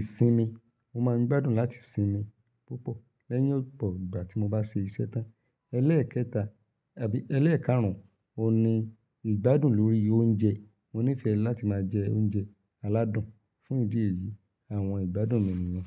ìsinmi. Mo máa ń gbádùn láti sinmi púpọ̀ lẹ́yìn ọ̀pọ̀ ìgbà tí mo bá ṣe iṣẹ́ tán. Elẹ́ẹ̀kẹta, ẹbí elẹ́ẹ̀kárùn oun ni ìgbádùn lórí oúnjẹ. Mo nífẹ̀ẹ́ láti máa jẹ oúnjẹ aládùn. Fún ìdí èyí, àwọn ìgbádùn mi nìyẹn.